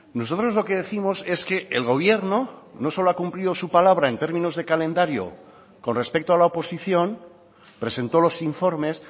nosotros lo que décimos es que el gobierno no solo ha cumplido su palabra en términos de calendario con respecto a la oposición presentó los informes